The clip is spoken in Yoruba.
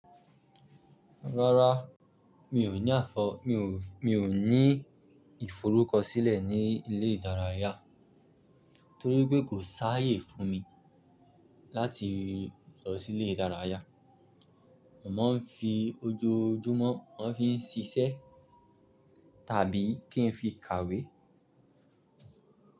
Rárá, mi ò ní àfọ, mi ò ní ìforúkọsílẹ̀ ní ilé ìdárayá torí pé kò sáyé fún mi láti lọ sí ilé ìdárayá. Ma n fi ojoojúmọ́, ma n fi ṣiṣẹ́ tàbí kí n fi kàwé.